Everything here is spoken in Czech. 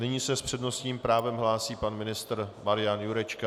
Nyní se s přednostním právem hlásí pan ministr Marian Jurečka.